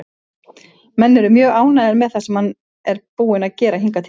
Menn eru mjög ánægðir með það sem hann er búinn að gera hingað til.